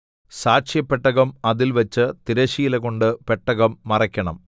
സാക്ഷ്യപെട്ടകം അതിൽ വച്ച് തിരശ്ശീലകൊണ്ട് പെട്ടകം മറയ്ക്കണം